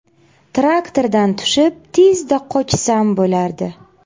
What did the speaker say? Traktordan tushib, tezda qochsam bo‘lardi.